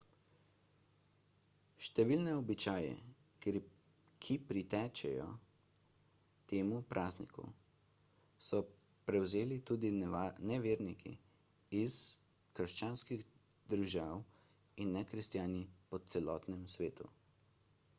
številne običaje ki pritičejo temu prazniku so prevzeli tudi neverniki iz krščanskih držav in nekristjani po celem svetu